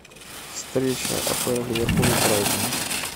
встреча апл ливерпуля и брайтона